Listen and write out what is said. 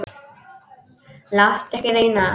Láttu ekki reyna á það.